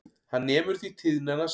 Hann nemur því tíðnina sem